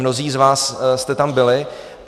Mnozí z vás jste tam byli.